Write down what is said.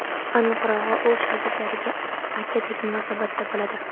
Aniqrog‘i, u shogirdlariga akadek munosabatda bo‘ladi.